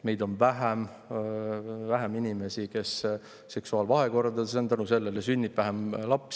Meil on vähem inimesi, kes on seksuaalvahekordades, ja selle sünnib vähem lapsi.